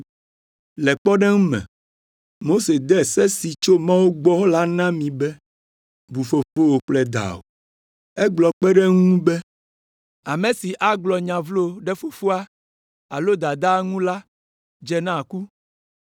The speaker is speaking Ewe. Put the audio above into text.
“Le kpɔɖeŋu me, Mose de se si tso Mawu gbɔ la na mi be, ‘Bu fofowò kple dawò.’ Egblɔ kpe ɖe eŋu be, ‘Ame si agblɔ nya vlo ɖe fofoa alo dadaa ŋu la dze na ku,’